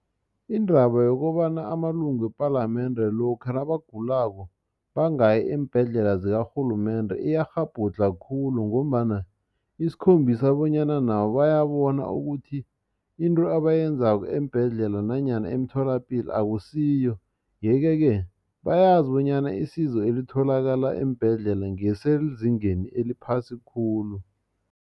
Indaba yokobana amalunga wepalamende lokha nabagulako bangayi eembhedlela zakarhulumende iyakghabhudlha khulu ngombana isikhombisa bonyana nabo bayabona ukuthi into abayenzako eembhedlela nanyana emtholapilo akusiyo yeke ke bayazi bonyana isizo elitholakala eembhedlela ngelisezingeni eliphasi khulu.